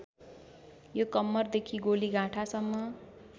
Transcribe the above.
यो कम्मरदेखि गोलीगाँठासम्म